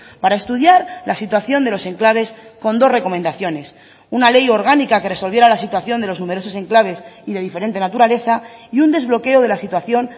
para estudiar la situación de los enclaves con dos recomendaciones una ley orgánica que resolviera la situación de los numerosos enclaves y de diferente naturaleza y un desbloqueo de la situación